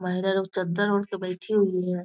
महिला लोग चद्दर ओढ़ के बैठी हुई है ।